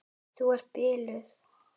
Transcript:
Þú ert biluð!